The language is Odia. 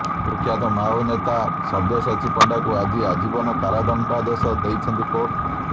କୁଖ୍ୟାତ ମାଓନେତା ସବ୍ୟସାଚୀ ପଣ୍ଡାଙ୍କୁ ଆଜି ଆଜୀବନ କାରାଦଣ୍ଡାଦେଶ ଦେଇଛନ୍ତି କୋର୍ଟ